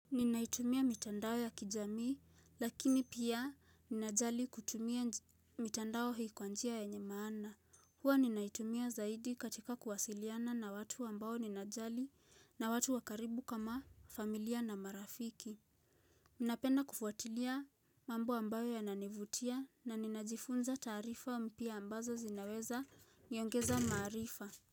Ninaitumia mitandao ya kijamii lakini pia ninajali kutumia mitandao hii kwa njia yenye maana. Huwa ninaitumia zaidi katika kuwasiliana na watu ambao ninajali na watu wa karibu kama familia na marafiki. Ninapenda kufuatilia mambo ambayo yananivutia na ninajifunza taarifa mpya ambazo zinaweza niongeza maarifa.